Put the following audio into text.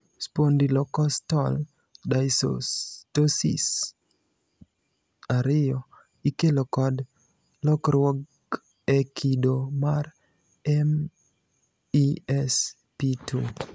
Spondylocostal dysostosis 2 ikelo kod lokruok e kido mar MESP2.